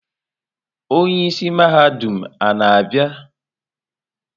Onye isi mahadum a na-abịa?